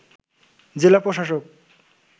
জেলা প্রশাসক